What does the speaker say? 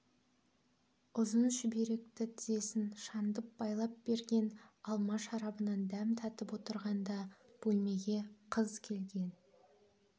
ұзын шүберекті тізесін шандып байлап берген алма шарабынан дәм татып отырғанда бөлмеге қыз келген